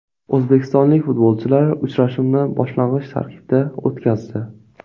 O‘zbekistonlik futbolchilar uchrashuvni boshlang‘ich tarkibda o‘tkazdi.